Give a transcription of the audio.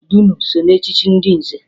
Dunu so na echchi ndị nze